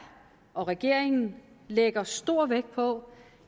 og regeringen lægger stor vægt på